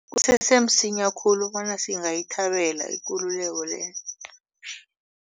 Kusese msinya khulu bona singayithabela ikululeko le.